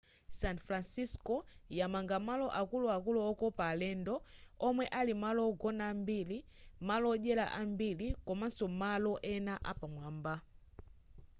san francisco yamanga malo akuluakulu okopa alendo omwe ali malo ogona ambiri malo odyera ambiri komaso malo ena apamwamba